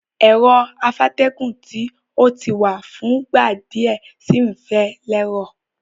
Ero afátẹ́gùn ti o ti wa fúngbà díẹ̀ si n fẹ́ lẹ́rọ̀